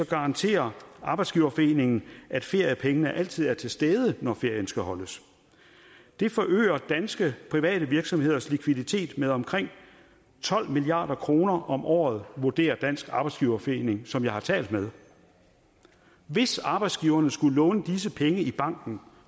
garanterer arbejdsgiverforeningen at feriepengene altid er til stede når ferien skal holdes det forøger danske private virksomheders likviditet med omkring tolv milliard kroner om året vurderer dansk arbejdsgiverforening som jeg har talt med hvis arbejdsgiverne skulle låne disse penge i banken